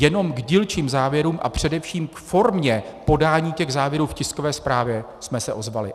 Jenom k dílčím závěrům a především k formě podání těch závěrů v tiskové zprávě jsme se ozvali.